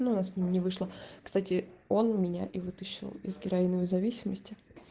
ну у нас не вышло кстати он меня и вытащил из героиновой зависимости